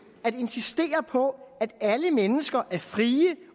at insistere på at alle mennesker er frie